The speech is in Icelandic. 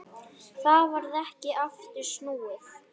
Það varð ekki aftur snúið.